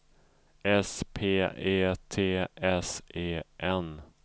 S P E T S E N